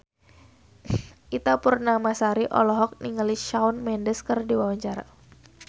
Ita Purnamasari olohok ningali Shawn Mendes keur diwawancara